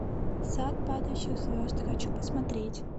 сад падающих звезд хочу посмотреть